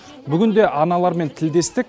бүгінде аналармен тілдестік